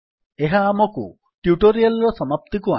ଏହା ଆମକୁ ଟ୍ୟୁଟୋରିଆଲ୍ ର ସମାପ୍ତିକୁ ଆଣେ